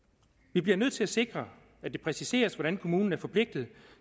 vi bliver nødt til at sikre at det præciseres hvordan kommunen er forpligtet